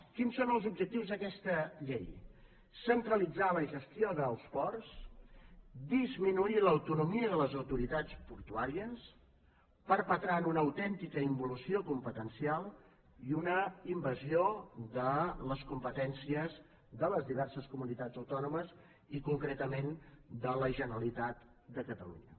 quins són els objectius d’aquesta llei centralitzar la gestió dels ports disminuir l’autonomia de les autoritats portuàries perpetrant una autèntica involució competencial i una invasió de les competències de les diverses comunitats autònomes i concretament de la generalitat de catalunya